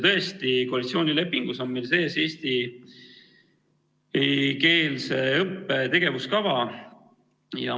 Tõesti, koalitsioonilepingus on meil sees eestikeelse õppe tegevuskava.